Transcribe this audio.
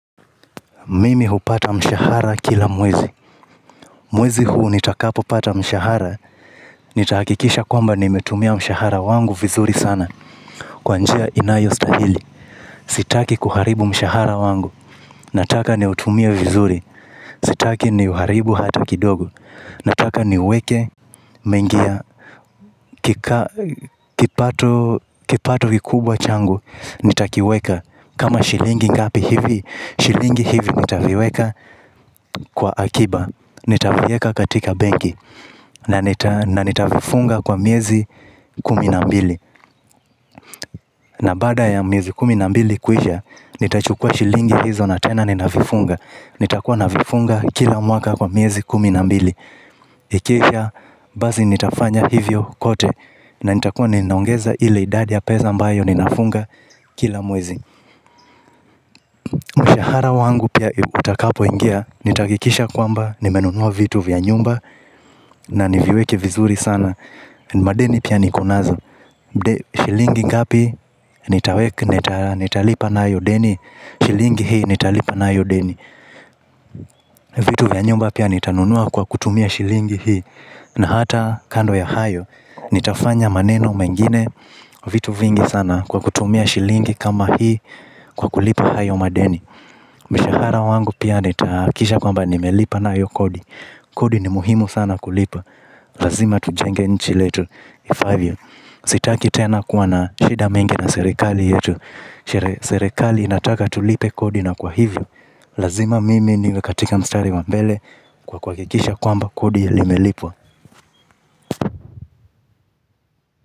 Mimi hupata mshahara kila mwezi. Mwezi huu nitakapopata mshahara, nitahakikisha kwamba nimetumia mshahara wangu vizuri sana. Kwa njia inayostahili, sitaki kuharibu mshahara wangu. Nataka niutumie vizuri. Sitaki niuharibu hata kidogo. Nataka niuweke mengi ya kipato kikubwa changu nitakiweka kama shilingi ngapi hivi? Shilingi hivi nitaviweka kwa akiba. Nitavieka katika benki. Na nitavifunga kwa miezi kumi na mbili. Na baada ya miezi kumi na mbili kuisha, nitachukua shilingi hizo na tena ninavifunga. Nitakuwa navifunga kila mwaka kwa miezi kumi na mbili. Ikiwa basi nitafanya hivyo kote. Na nitakuwa ninaongeza ile idadi ya pesa mbayo ninafunga kila mwezi. Mshahara wangu pia utakapoingia nitahakikisha kwamba nimenunua vitu vya nyumba, na niviweke vizuri sana. Madeni pia niko nazo. Shilingi ngapi nitaweka nitalipa nayo deni? Shilingi hii nitalipa nayo deni. Vitu vya nyumba pia nitanunua kwa kutumia shilingi hii. Na hata kando ya hayo nitafanya maneno mengine, vitu vingi sana kwa kutumia shilingi kama hii, kwa kulipa hayo madeni. Mshahara wangu pia nitahakikisha kwamba nimelipa nayo kodi. Kodi ni muhimu sana kulipa. Lazima tujenge nchi letu ifaavyo. Sitaki tena kuwa na shida mingi na serekali yetu. Serekali inataka tulipe kodi na kwa hivyo, lazima mimi niwe katika mstari wa mbele. Kwa kwa kuhakikisha kwamba kodi imelipwa.